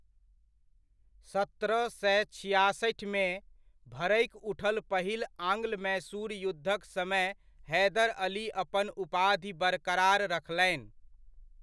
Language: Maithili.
सत्रह सए छिआसठिमे, भड़कि उठल पहिल आंग्ल मैसूर युद्धक समय हैदर अली अपन उपाधि बरकरार रखलनि।